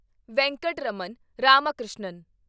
Venkataraman Ramakrishnan